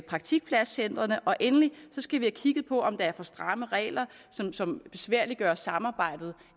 praktikpladscentrene og endelig skal vi have kigget på om der er for stramme regler som som besværliggør samarbejdet